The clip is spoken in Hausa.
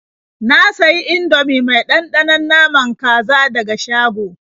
Na sayi Indomie mai ɗanɗanon naman kaza daga shago.